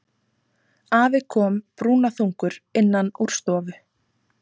Afi kom brúnaþungur innan úr stofu.